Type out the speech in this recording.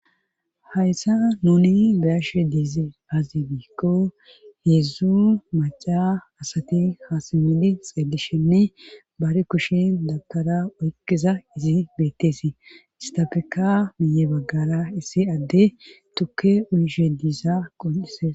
Hayssa nuni beyashe diize azi biikko heeedzdzu maca asati haasamidi xeelishenne baari kushin dabkara oyqiza izi beetteesi istafeka miye baggara issi adde tukke uyishe diisa qon7ise.